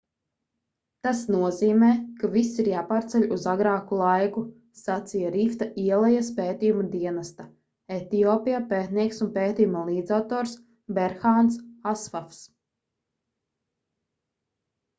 tas nozīmē ka viss ir jāpārceļ uz agrāku laiku sacīja rifta ielejas pētījumu dienesta etiopijā pētnieks un pētījuma līdzautors berhāns asfavs